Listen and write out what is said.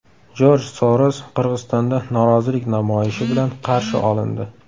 Jorj Soros Qirg‘izistonda norozilik namoyishi bilan qarshi olindi.